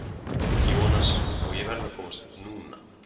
Jú, annars, og ég verð að komast NÚNA!